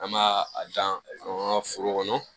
An b'a a dan an ka foro kɔnɔ